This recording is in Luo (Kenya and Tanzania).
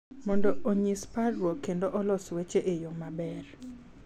Mondo onyis parruok kendo olos weche e yo maber,